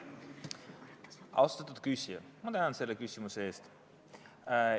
Austatud küsija, ma tänan selle küsimuse eest!